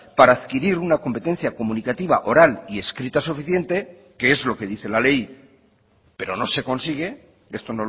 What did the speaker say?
para adquirir una competencia comunicativa oral y escrita suficiente que es lo que dice la ley pero no se consigue esto